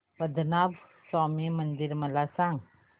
पद्मनाभ स्वामी मंदिर मला सांग